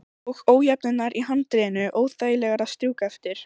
Og ójöfnurnar í handriðinu óþægilegar að strjúka eftir.